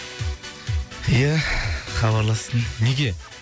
ия хабарлассын неге